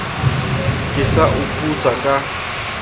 ke sa o putsa ka